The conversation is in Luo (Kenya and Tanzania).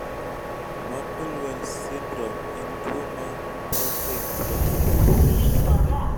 muckle wells syndrome en tuwo ma autoinflammatory